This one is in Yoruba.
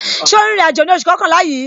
Ṣé o ń rìnrìn àjò ní oṣù kọkànlá yìí?